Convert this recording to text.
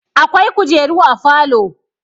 Akwai kujeru a falo.